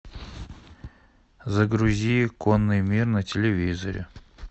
загрузи конный мир на телевизоре